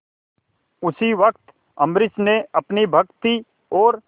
उसी वक्त अम्बरीश ने अपनी भक्ति और